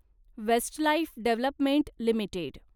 Westlife development limited